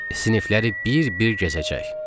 Sinifləri bir-bir gəzəcək.